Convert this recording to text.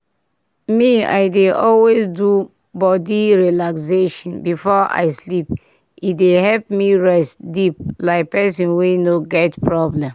pause small—me i dey always do body relaxation before i sleep e dey help me rest deep like person wey no get problem.